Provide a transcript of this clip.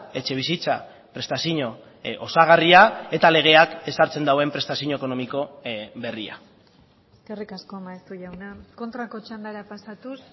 etxebizitza prestazio osagarria eta legeak ezartzen duen prestazio ekonomiko berria eskerrik asko maeztu jauna kontrako txandara pasatuz